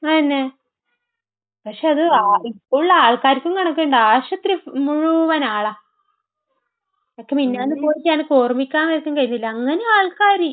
അതന്നെ. പക്ഷെ അത് ഇപ്പോഴുള്ള ആൾക്കാർക്കും കണക്കിണ്ടോ? ആശുപത്രിയിൽ മുഴുവനും ആളാ. എനിക്ക് മിനിഞ്ഞാന്ന് പോയിട്ട് എനക്ക് ഓർമ്മിക്കാൻ പോലും കഴിയുന്നില്ല. അങ്ങനെയാ ആൾക്കാർ.